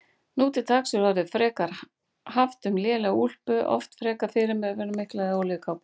Nú til dags er orðið frekar haft um lélega úlpu, oft frekar fyrirferðarmikla, eða olíukápu.